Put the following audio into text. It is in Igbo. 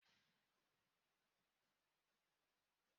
Ọ bụ m ga-akụ ekwe